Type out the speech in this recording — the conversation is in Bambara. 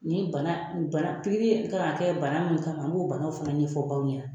Nin bana pikiri kan ka kɛ bana mun kama, n'o bana fana ɲɛfɔ baw ɲɛna.